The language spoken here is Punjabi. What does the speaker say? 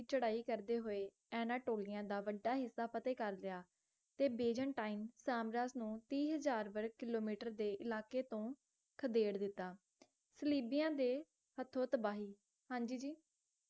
ਚੜ੍ਹਾਈ ਕਰਦੇ ਹੋਏ ਅਨਟੋਲੀਆ ਦਾ ਵੱਢਾ ਹਿੱਸਾ ਫਤਹਿ ਕਰ ਲਿਆ ਤੇ ਬੇਜੇਨਟਾਈਂਨ ਤੀਹ ਹਜ਼ਾਰ ਵਰਗ ਕਿੱਲੋਮੀਟਰ ਦੀ ਇਲਾਕੇ ਤੋਂ ਖਦੇੜ ਦਿੱਤਾ ਸਲੀਬੀਆਂ ਦੇ ਹੱਥੋਂ ਤਬਾਹੀ